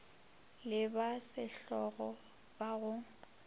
le ba sehlogo ba go